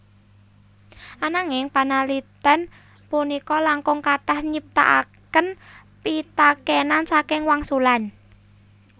Ananging panalitén punika langkung kathah nyiptakaken pitakénan saking wangsulan